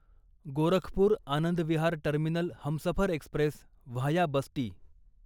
Gorakhpur Anand Vihar terminal Humsafar express via Basti